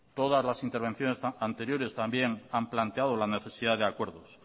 todas las intervenciones anteriores también han planteado la necesidad de acuerdos